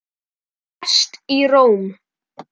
Hann lést í Róm.